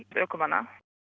ökumanna